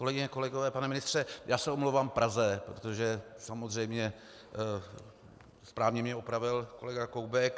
Kolegyně a kolegové, pane ministře, já se omlouvám Praze, protože samozřejmě správně mě opravil kolega Koubek.